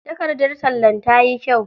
Takardar tallan tayi kyau.